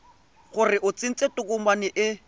gore o tsentse tokomane e